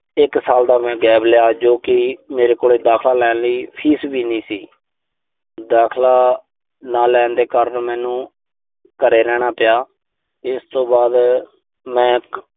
ਇੱਕ ਸਾਲ ਦਾ ਮੈਂ gap ਲਿਆ, ਜੋ ਕਿ ਮੇਰੇ ਕੋਲ ਦਾਖਲਾ ਲੈਣ ਲਈ ਫੀਸ ਵੀ ਨਹੀਂ ਸੀ। ਦਾਖਲਾ ਨਾ ਲੈਣ ਦੇ ਕਾਰਨ ਮੈਨੂੰ ਘਰੇ ਰਹਿਣਾ ਪਿਆ। ਇਸ ਤੋਂ ਬਾਅਦ ਮੈਂ